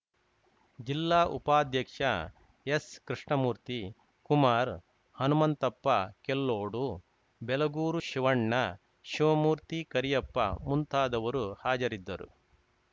ಜಿಲ್ಲಾ ಉಪಾಧ್ಯಕ್ಷ ಎಸ್‌ ಕೃಷ್ಣಮೂರ್ತಿ ಕುಮಾರ್‌ ಹನುಮಂತಪ್ಪ ಕೆಲ್ಲೋಡು ಬೆಲಗೂರು ಶಿವಣ್ಣ ಶಿವಮೂರ್ತಿ ಕರಿಯಪ್ಪ ಮುಂತಾದವರು ಹಾಜರಿದ್ದರು